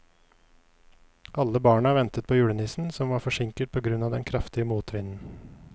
Alle barna ventet på julenissen, som var forsinket på grunn av den kraftige motvinden.